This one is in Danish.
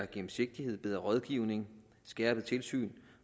gennemsigtighed bedre rådgivning skærpet tilsyn